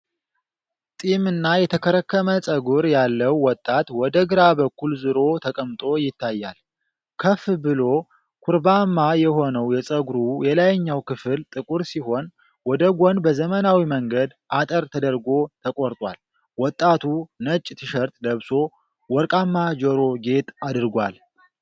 ጢምና የተከረከመ ፀጉር ያለው ወጣት ወደ ግራ በኩል ዞሮ ተቀምጦ ይታያል። ከፍ ብሎ ኩርባማ የሆነው የፀጉሩ የላይኛው ክፍል ጥቁር ሲሆን፤ ወደ ጎን በዘመናዊ መንገድ አጠር ተደርጎ ተቆርጧል። ወጣቱ ነጭ ቲሸርት ለብሶ ወርቃማ ጆሮ ጌጥ አድርጓል።